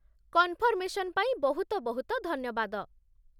Confirmation ପାଇଁ ବହୁତ ବହୁତ ଧନ୍ୟବାଦ ।